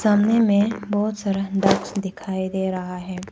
सामने में बहोत सारा डक्स दिखाई दे रहा है।